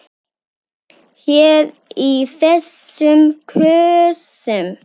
Hér í þessum kössum!